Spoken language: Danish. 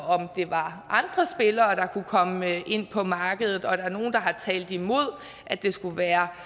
om der var andre spillere der kunne komme ind på markedet og der er nogle der har talt imod at det skulle være